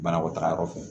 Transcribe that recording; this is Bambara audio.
Banakɔtaga yɔrɔ fɛ